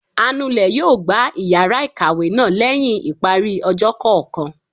anulè yóò gbá iyara ikáwe náá lẹhin ipári ọjọ kọọkan